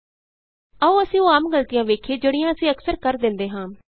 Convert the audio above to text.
ਆਉ ਅਸੀਂ ਉਹ ਆਮ ਗਲਤੀਆਂ ਵੇਖੀਏ ਜਿਹੜੀਆਂ ਅਸੀਂ ਅਕਸਰ ਕਰ ਦਿੰਦੇ ਹਾਂ